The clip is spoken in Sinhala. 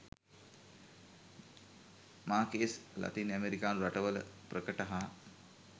මාකේස් ලතින් ඇමෙරිකානු රටවල ප්‍රකට හා